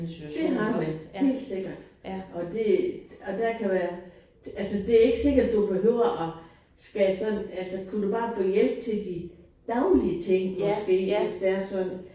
Det har man! Helt sikkert. Og det og der kan være altså det ikke sikkert du behøver at skal sådan altså kunne du bare få hjælp til de daglige ting måske hvis det er sådan